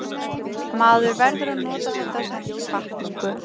Maður verður að nota þetta sem hvatningu.